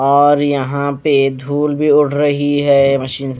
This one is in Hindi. और यहां पे धूल भी उड़ रही है मशीन --